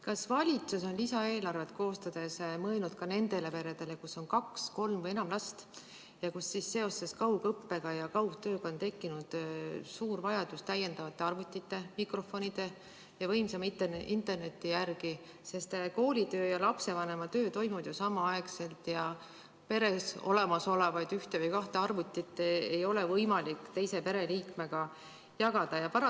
Kas valitsus on lisaeelarvet koostades mõelnud ka nendele peredele, kus on kaks, kolm või enam last ja kus seoses kaugõppe ja kaugtööga on tekkinud suur vajadus täiendavate arvutite, mikrofonide ja võimsama interneti järele, sest koolitöö ja lapsevanema töö toimuvad ju samaaegselt ja peres olemasolevat ühte või kahte arvutit ei ole võimalik teise pereliikmega jagada?